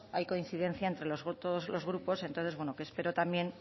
hay coincidencia entre todos los grupos entonces bueno que espero también